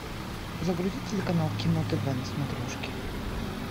загрузи телеканал кино тв на смотрешке